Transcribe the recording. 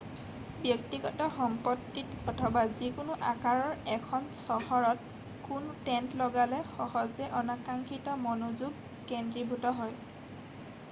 ব্যক্তিগত সম্পত্তিত অথবা যিকোনো আকাৰৰ এখন চহৰত কোনো টেণ্ট লগালে সহজে অনাকাংক্ষিত মনোযোগ কেন্দ্ৰীভূত হয়